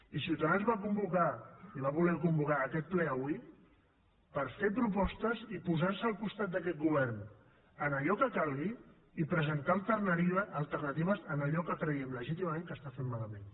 i ciutadans va convocar i va voler convocar aquest ple avui per fer propostes i posar se al costat d’aquest govern en allò que calgui i presentar alternatives en allò que creiem legítimament que està fent malament